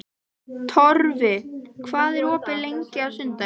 Torfi, hvað er opið lengi á sunnudaginn?